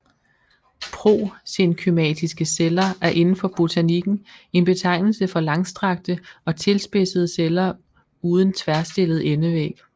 Prosenkymatiske celler er inden for botanikken en betegnelse for langstrakte og tilspidsede celler uden tværstillet endevæg